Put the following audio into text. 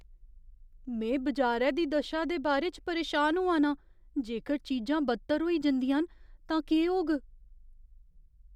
में बजारै दी दशा दे बारे च परेशान होआ नां। जेकर चीजां बद्तर होई जंदियां न तां केह् होग?